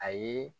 A ye